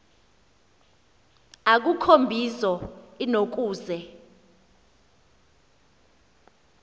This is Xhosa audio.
akukho mbizo inokuze